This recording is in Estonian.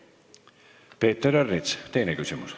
Peeter Ernits, teine küsimus.